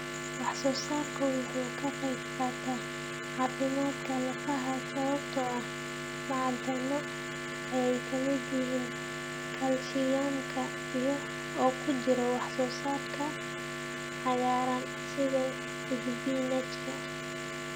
Wax soo saarku waxa uu ka qayb qaataa caafimaadka lafaha sababtoo ah macdano ay ka mid yihiin kaalshiyamka oo ku jira wax soo saarka cagaaran sida isbinaajka.